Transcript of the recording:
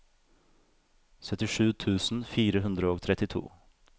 syttisju tusen fire hundre og trettito